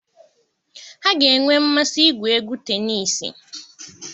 Ha ga-enwe mmasị igwu égwú tenisii.